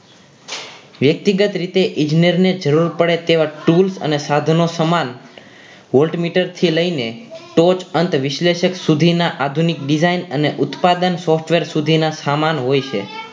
વ્યક્તિગત રીતે ઇજનેર ને જરૂર પડે તેવા tools અને સાધનો સમાન voltmeter થી લઈને તો જ અંત વિશ્લેષક સુધીના આધુનિક design અને ઉત્પાદન software સુધીના સામાન હોય છે